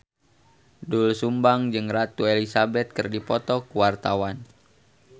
Doel Sumbang jeung Ratu Elizabeth keur dipoto ku wartawan